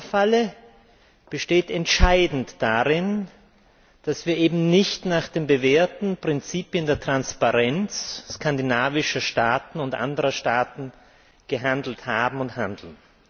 Die Europafalle besteht entscheidend darin, dass wir eben nicht nach den bewährten Prinzipien der Transparenz skandinavischer und anderer Staaten gehandelt haben und handeln.